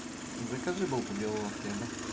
закажи булку белого хлеба